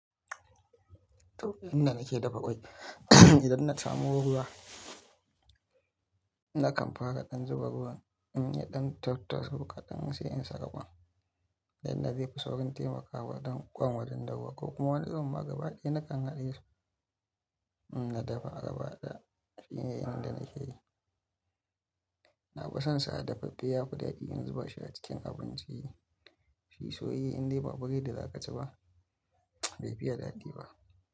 To inda nake dafa ƙwai, idan na samu ruwa nakan fara ɗan zuba ruwan in ya ɗan tattaso kaɗan sai in saka ƙwan. Ta inda zaifi saurin taimakawa don ƙwan wajen dahuwa ko kuma wani irin ma gaba ɗaya na kan haɗe su in na dafa a gaba ɗaya shine inda nake yi. Na fi son sa a dafaffe yafi daɗi in zuba shi a cikin abinci. Shi soyayye indai ba baredi zaƙaci ba, bai fiya daɗi ba.